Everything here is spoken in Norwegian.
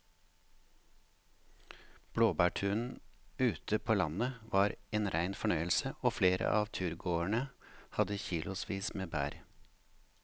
Blåbærturen ute på landet var en rein fornøyelse og flere av turgåerene hadde kilosvis med bær.